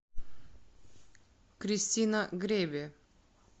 кристина греве